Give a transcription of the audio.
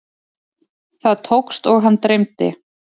Það tókst og hann dreymdi.